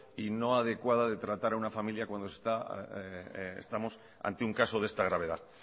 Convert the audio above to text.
y no adecuada de tratar a una familia cuando se está estamos ante un caso de esta gravedad